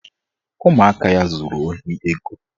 Ụmụaka ya zuru ohi ego